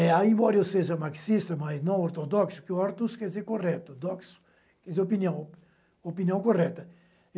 É, embora eu seja marxista, mas não ortodoxo, porque ortos quer dizer correto, doxo quer dizer opinião, opinião correta.